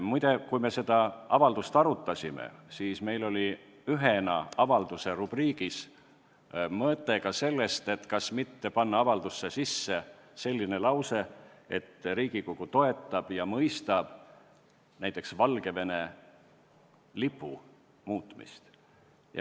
Muide, kui me seda avaldust arutasime, siis oli meil kaalumisel ka mõte, kas panna avaldusse näiteks selline lause, et Riigikogu toetab ja mõistab Valgevene lipu muutmist.